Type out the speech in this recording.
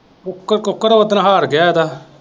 Cook ਕੁੱਕੜ ਉਸ ਦਿਨ ਹਾਰ ਗਿਆ ਉਹਦਾ।